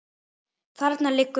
Þarna liggur nú